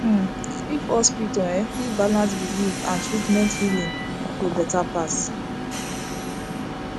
uhmm if hospital en fit balance belief and treatment healing go better pass